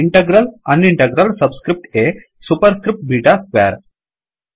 integral on integral subscript a superscript beta square